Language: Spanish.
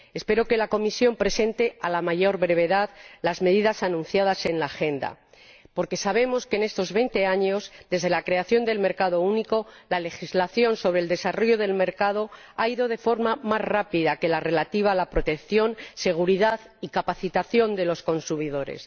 Espero que la Comisión presente a la mayor brevedad las medidas anunciadas en la Agenda. Porque sabemos que, en estos veinte años desde la creación del mercado único, la legislación sobre el desarrollo del mercado ha ido de forma más rápida que la relativa a la protección, seguridad y capacitación de los consumidores.